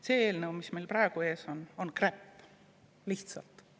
See eelnõu, mis meil praegu ees on, on lihtsalt kräpp.